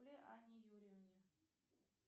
анне юрьевне